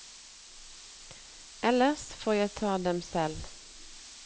Ellers får jeg ta dem selv.